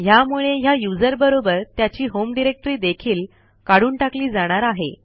ह्यामुळे ह्या यूझर बरोबर त्याची होम डिरेक्टरी देखील काढून टाकली जाणार आहे